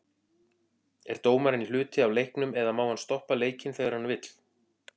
Er dómarinn hluti af leiknum eða má hann stoppa leikinn þegar hann vill?